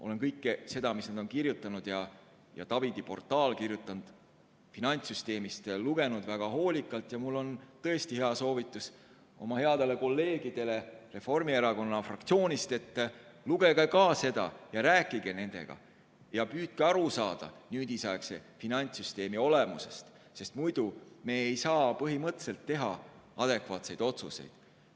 Olen kõike seda, mis nad on kirjutanud ja mida Tavidi portaalis on finantssüsteemi kohta kirjutatud, lugenud väga hoolikalt ning mul on tõesti hea soovitus headele kolleegidele Reformierakonna fraktsioonist: lugege ka teie nende kirjutatut ja rääkige nendega, püüdke aru saada nüüdisaegse finantssüsteemi olemusest, sest muidu me ei saa põhimõtteliselt teha adekvaatseid otsuseid.